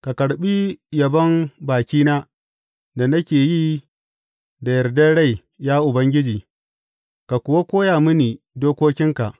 Ka karɓi yabon bakina da nake yi da yardar rai, ya Ubangiji, ka kuwa koya mini dokokinka.